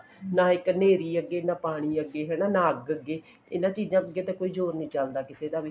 ਨਾ ਇੱਕ ਨੇਰੀ ਅੱਗੇ ਨਾ ਇੱਕ ਪਾਣੀ ਅੱਗੇ ਹਨਾ ਨਾ ਅੱਗ ਅੱਗੇ ਇਹਨਾ ਚੀਜ਼ਾਂ ਅੱਗੇ ਜੋਰ ਨੀ ਚੱਲਦਾ ਕਿਸੇ ਦਾ ਵੀ